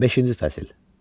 Beşinci fəsil.